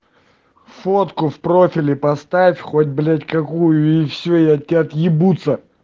фотку в профиле поставь хоть блять какую и все и от тебя отъебутся